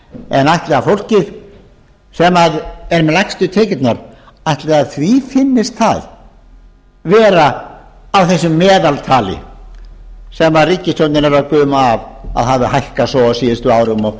en ætli fólki sem er með lægstu tekjurnar finnist það vera á þessu meðaltali sem ríkisstjórnin er að guma af að hafi hækkað svo á síðustu árum og